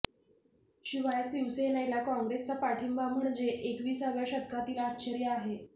शिवाय शिवसेनेला काँग्रेसचा पाठिंबा म्हणजे एकविसाव्या शतकातील आश्चर्य आहे